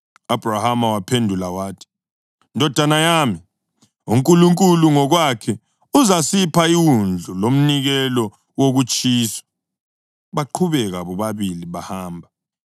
U-Abhrahama waphendula wathi, “Ndodana yami, uNkulunkulu ngokwakhe uzasipha iwundlu lomnikelo wokutshiswa.” Baqhubeka bobabili bahamba.